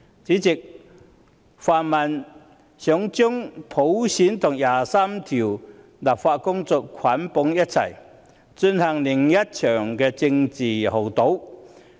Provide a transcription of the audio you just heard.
主席，泛民想將普選和就第二十三條立法的工作捆綁在一起，進行另一場政治豪賭。